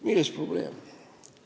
Milles on probleem?